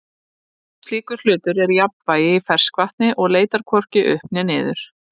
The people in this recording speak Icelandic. slíkur hlutur er í jafnvægi í ferskvatni og leitar hvorki upp né niður